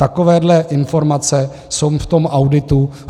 Takovéto informace jsou v tom auditu.